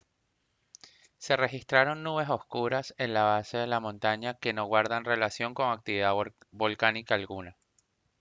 se registraron nubes oscuras en la base de la montaña que no guardan relación con actividad volcánica alguna